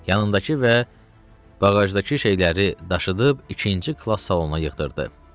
Yanındakı və bağajdakı şeyləri daşıyıb ikinci klass salonuna yığdırdı.